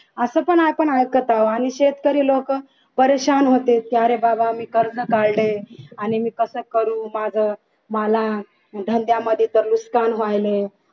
असं पण आपण ऐकत आहोत आणि शेतकरी लोकं परेशान होते अरे बाबा मी कर्ज काढले आणि मी कसं करू माझं मला धंद्यामध्ये तर नुसकान व्हायले